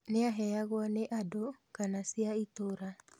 Nĩaheagwo nĩ andũ kana cia itũũra